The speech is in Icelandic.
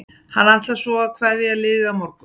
Hann ætlar svo að kveðja liðið á morgun.